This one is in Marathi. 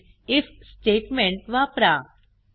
Hint आयएफ स्टेटमेंट वापरा